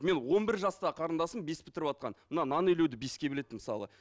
мен он бір жастағы қарындасым бес бітіріватқан мына нан илеуді беске біледі мысалы